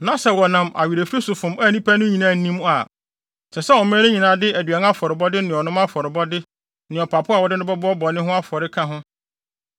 na sɛ wɔnam awerɛfiri so fom a nnipa no nyinaa nnim a, ɛsɛ sɛ ɔman no nyinaa de aduan afɔrebɔde ne ɔnom afɔrebɔde ne ɔpapo a wɔde no bɛbɔ bɔne ho afɔre ka ho.